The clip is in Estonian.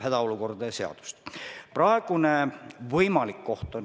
Aitäh, lugupeetud juhataja!